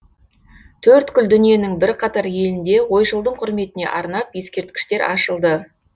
төрткүл дүниенің бірқатар елінде ойшылдың құрметіне арнап ескерткіштер ашылды